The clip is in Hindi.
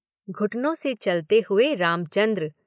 घुटनों से चलते हुए रामचन्द्र।